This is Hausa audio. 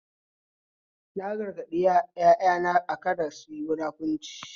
Na gargaɗi ƴaƴana kada suyi munafurci